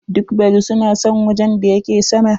Duk baru su na son wajen da yake sama.